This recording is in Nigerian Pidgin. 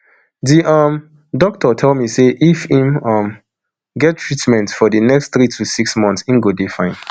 di um doctor tell me say if im um get treatment for di next three to six months im go dey fine